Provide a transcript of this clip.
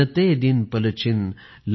गिनते दिन पलछिन